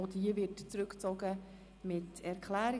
Auch diese Motion wird zurückgezogen mit Erklärung.